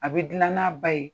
A be dunan na ba ye